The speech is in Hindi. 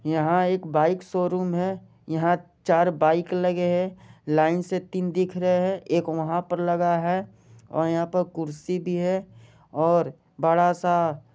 यहां एक बाइक शोरूम है यहाँ चार बाइक लगे है लाइन से तीन दिख रहे है एक वहां पर लगा है और यहाँ पर कुर्सी भी है और बड़ा सा--